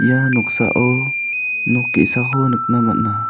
ia noksao nok ge·sako nikna man·a.